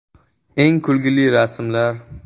Eng kulgili rasmlar.